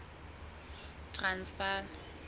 transvala